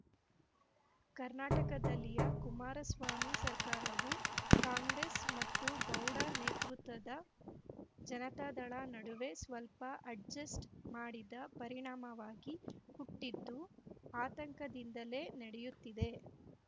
ಕರ್ನಾಟಕದಲ್ಲಿಯ ಕುಮಾರಸ್ವಾಮಿ ಸರ್ಕಾರವು ಕಾಂಗ್ರೆಸ್‌ ಮತ್ತು ಗೌಡ ನೇತೃತ್ವದ ಜನತಾದಳ ನಡುವೆ ಸ್ವಲ್ಪ ಅಡ್ಜೆಸ್ಟ್‌ ಮಾಡಿದ ಪರಿಣಾಮವಾಗಿ ಹುಟ್ಟಿದ್ದು ಆತಂಕದಿಂದಲೇ ನಡೆಯುತ್ತಿದೆ